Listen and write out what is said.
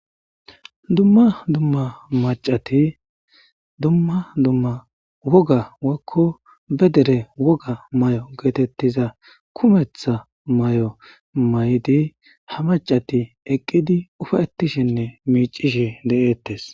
Dumma dumma macati dumma dumma woga wekko be dere woga may'o geetettiza kumetha may'o maydi ha macati eqqidi ufayetishinne miicishi de'ettes.